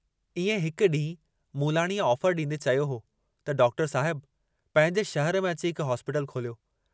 इएं हिक डींहूं मूलाणीअ ऑफर डींदे चयो हो त डॉक्टर साहिब पंहिंजे शहर में अची हिक हॉस्पीटल खोलियो।